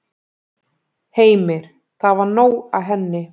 Heimir: Það var nóg af henni?